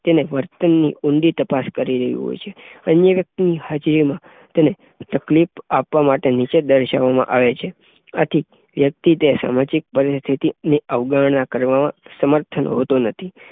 તેને વર્તનની ઊંડી તપાસ કરી રહી હોય છે, અન્ય વ્યક્તિની હાજરી તેને તકલીફ આપવામાટે તેને નીચે દર્શાવવામાં આવે છે. આથી વ્યક્તિ તે સામાજિક પરિસ્થિતિની અવગણના કરવા સમર્થન હોતો નથી